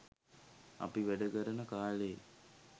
අපි වැඩ කරන කා‍ලේ